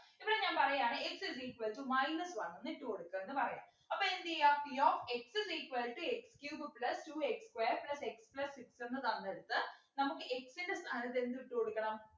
ഇപ്പോ ഞാൻ പറയാണ് x is equal to minus one എന്ന് ഇട്ടു കൊടുക്ക എന്ന് പറയാം അപ്പൊ എന്ത് ചെയ്യാ p of x is equal to x cube plus two x square plus x plus six എന്നു തന്നെടുത്ത് നമുക്ക് x ൻ്റെ സ്ഥാനത്ത് എന്തിട്ടു കൊടുക്കണം